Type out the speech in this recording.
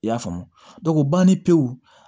I y'a faamu banni pewu